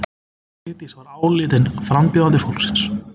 Vigdís var álitin frambjóðandi fólksins.